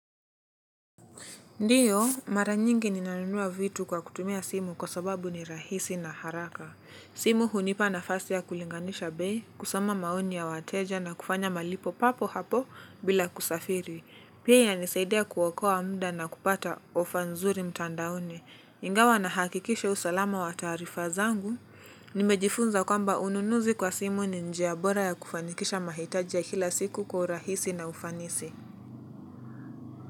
Ndiyo, mara nyingi ninanunua vitu kwa kutumia simu kwa sababu ni rahisi na haraka. Simu hunipa nafasi ya kulinganisha bei, kusoma maoni ya wateja na kufanya malipo papo hapo bila kusafiri. Pia yanisaidea kuokoa muda na kupata offer nzuri mtandaoni. Ingawa nahakikisha usalama wa taarifa zangu. Nimejifunza kwamba ununuzi kwa simu ni njia bora ya kufanikisha mahitajia ya kila siku kwa urahisi na ufanisi.